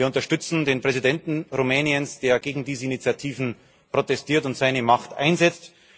Wir unterstützen den Präsidenten Rumäniens, der gegen diese Initiativen protestiert und seine Macht einsetzt.